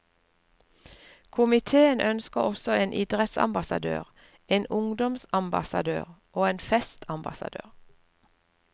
Komitéen ønsker også en idrettsambassadør, en ungdomsambassadør og en festambassadør.